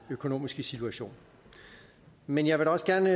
økonomiske situation men jeg vil også gerne